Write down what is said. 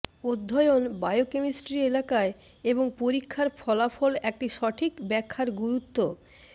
অধ্যয়ন বায়োকেমিস্ট্রি এলাকায় এবং পরীক্ষার ফলাফল একটি সঠিক ব্যাখ্যার গুরুত্ব